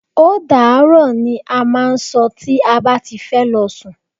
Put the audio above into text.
Ódàárọ̀! ni a máà ń sọ tí a bá ti fẹ́ lọ sún.